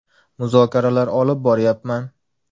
Muzokaralar olib boryapman.